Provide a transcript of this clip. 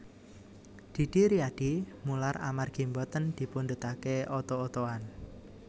Didi Riyadi mular amargi mboten dipundhutake oto otoan